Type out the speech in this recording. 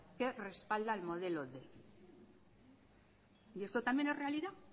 que respalda el modelo quinientos y esto también es realidad